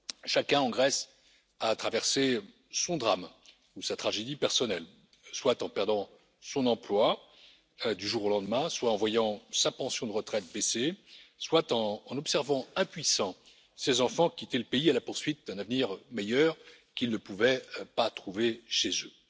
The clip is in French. Chacun en Grèce a traversé son drame ou sa tragédie personnelle, soit en perdant son emploi du jour au lendemain, soit en voyant sa pension de retraite baisser, soit en en observant, impuissant, ses enfants quitter le pays à la poursuite d'un avenir meilleur qu'ils ne pouvaient pas trouver chez eux.